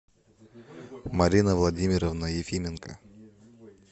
марина владимировна ефименко